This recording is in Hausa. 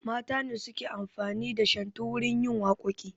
Mata ne suke amfani da shantu wurin yin waƙoƙi